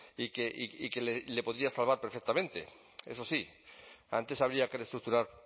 y que le podría salvar perfectamente eso sí antes habría que reestructurar